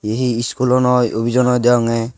hi eskulo noi offiso noi deyongey.